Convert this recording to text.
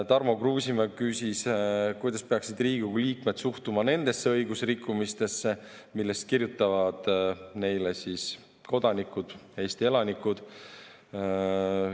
Tarmo Kruusimäe küsis, kuidas peaksid Riigikogu liikmed suhtuma nendesse õigusrikkumistesse, millest kirjutavad neile kodanikud, Eesti elanikud.